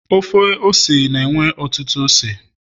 Ofe ose na enwe ọtụtụ ose